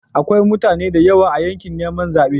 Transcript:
Akwai mutane da yawa a yakin neman zabe.